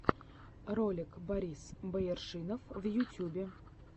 ролик борис бояршинов в ютьюбе